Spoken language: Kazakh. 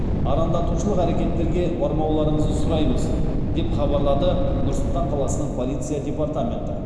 арандатушылық әрекеттерге бармауларыңызды сұраймыз деп хабарлады нұр сұлтан қаласының полиция департаменті